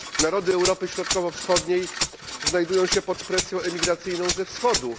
Narody Europy Środkowo Wschodniej znajdują się pod presją emigracyjną ze Wschodu.